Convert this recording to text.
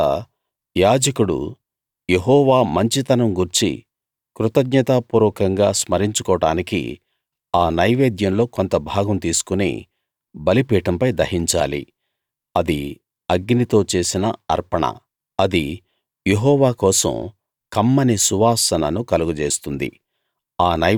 తరువాత యాజకుడు యెహోవా మంచితనం గూర్చి కృతజ్ఞతాపూర్వకంగా స్మరించుకోడానికి ఆ నైవేద్యంలో కొంత భాగం తీసుకుని బలిపీఠంపై దహించాలి అది అగ్నితో చేసిన అర్పణ అది యెహోవా కోసం కమ్మని సువాసనను కలుగజేస్తుంది